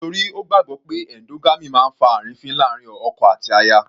Nítorí Ó gbàgbọ́ pé endogamy máa ń fa àrífín láàrin ọkọ àti aya.